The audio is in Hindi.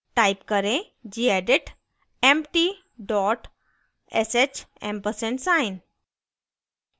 type करें gedit empty dot sh ampersand sign